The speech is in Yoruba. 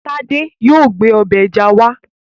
Tádé yóò gbé ọbẹ̀ ẹja wá